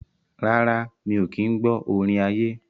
Rárá, mi ò kí ń gbọ́ orin ayé.